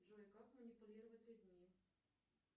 джой как манипулировать людьми